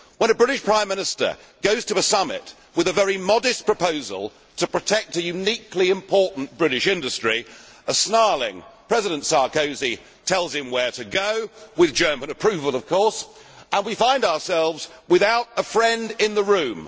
When a British Prime Minister goes to a summit with a very modest proposal to protect a uniquely important British industry, a snarling President Sarkozy tells him where to go, with German approval of course, and we find ourselves without a friend in the room.